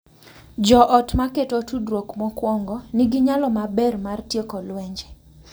Jo ot ma keto tudruok mokuongo nigi nyalo maber mar tieko lwenje,